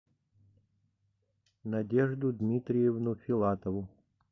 надежду дмитриевну филатову